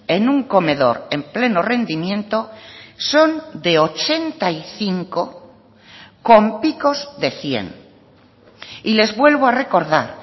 en un comedor en pleno rendimiento son de ochenta y cinco con picos de cien y les vuelvo a recordar